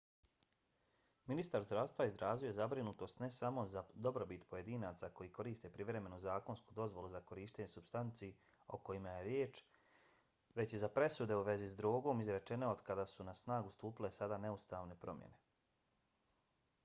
ministar zdravstva izrazio je zabrinutost ne samo za dobrobit pojedinaca koji koriste privremenu zakonsku dozvolu za korištenje supstanci o kojima je riječ već i za presude u vezi sa drogom izrečene od kada su na snagu stupile sada neustavne promjene